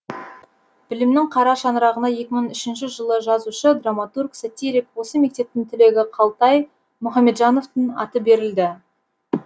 білімнің қара шаңырағына екі мың үшінші жылы жазушы драматург сатирик осы мектептің түлегі қалтай мұхамеджановтың аты берілді